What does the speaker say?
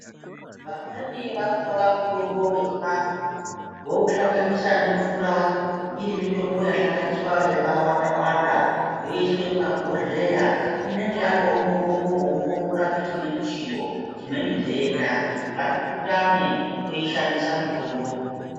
Vamweni vanotora mutombo wechivantu vouhlanganisa nemvura iri mitombo yahlanganiswa yakawanda wanda yoiswe mumabhodhlera inenge yatova mitombo unokone kurapa chimweni chiro chimweni ndenda katipurutane teishandisa mutombo.